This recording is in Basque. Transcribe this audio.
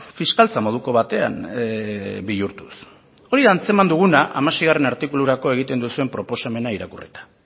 fiskaltza moduko batean bihurtuz hori da antzeman duguna hamaseigarrena artikulurako egiten duzuen proposamena irakurrita